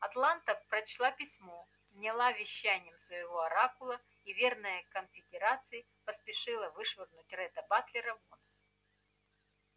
атланта прочла письмо вняла вещаниям своего оракула и верная конфедерации поспешила вышвырнуть ретта батлера вон